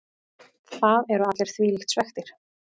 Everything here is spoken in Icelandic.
Það eru allir þvílíkt svekktir.